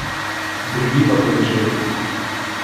Drviva po deželi!